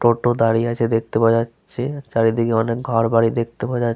টোটো দাঁড়িয়ে আছে দেখতে পাওয়া যাচ্ছে। চারিদিকে অনেক ঘর বাড়ি দেখতে পাওয়া যা --